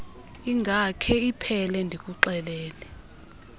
ingakhe iphele ndikuxelele